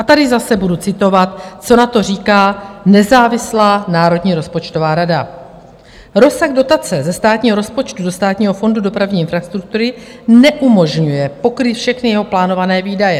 A tady zase budu citovat, co na to říká nezávislá Národní rozpočtová rada: "Rozsah dotace ze státního rozpočtu do Státního fondu dopravní infrastruktury neumožňuje pokrýt všechny jeho plánované výdaje.